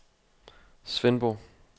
Svendborg